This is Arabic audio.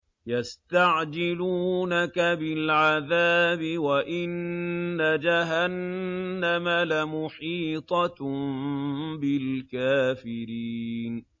يَسْتَعْجِلُونَكَ بِالْعَذَابِ وَإِنَّ جَهَنَّمَ لَمُحِيطَةٌ بِالْكَافِرِينَ